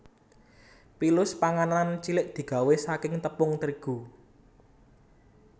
Pilus panganan cilik digawé saking tepung terigu